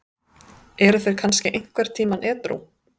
Eru þeir kannski einhvern tímann edrú?